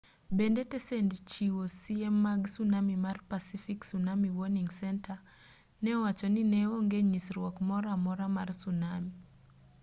bende tesend chiwo siem mag tsunami mar pacific tsunami warning center ne owacho ni ne onge nyisruok moro amora mar tsunami